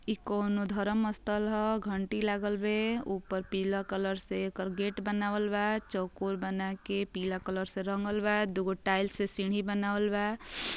इ कौनो धर्म स्थल ह घंटी लागल बे उपर पीला कलर से एकर गेट बनावल बा। चौकोर बनाके पीला कलर से रंगल बा। दुगो टाइल्स से सीढ़ी बनावल बा।